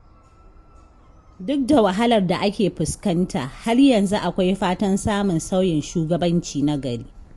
Duk da wahalar da ake fuskanta, har yanzu akwai fatan samun sauyin shugabanci na gari.